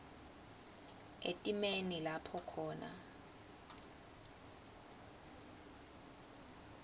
etimeni lapho khona